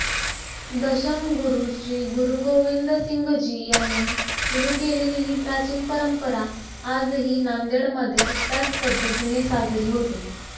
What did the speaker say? दशमगुरु श्री गुरुगोविंदसिंघजी यांनी सुरु केलेली ही प्राचीन परंपरा आजही नांदेडमध्ये त्याच पध्दतीने साजरी होते